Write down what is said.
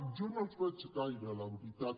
jo no els en veig gaire la veritat